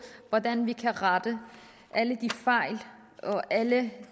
hvordan vi kan rette alle de fejl og alle